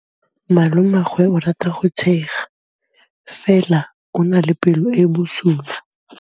Malomagwe o rata go tshega fela o na le pelo e e bosula.